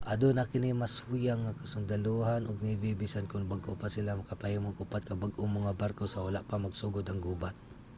aduna kini mas huyang nga kasundalohan ug navy bisan kon bag-o pa sila nakapahimo og upat ka bag-ong mga barko sa wala pa magsugod ang gubat